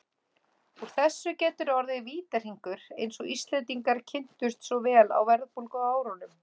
Úr þessu getur orðið vítahringur eins og Íslendingar kynntust svo vel á verðbólguárunum.